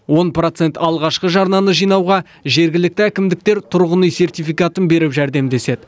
он процент алғашқы жарнаны жинауға жергілікті әкімдіктер тұрғын үй сертификатын беріп жәрдемдеседі